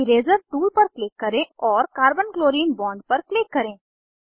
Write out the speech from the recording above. eraser tool पर click करें और कार्बन क्लोरीन बॉन्ड पर क्लिक करें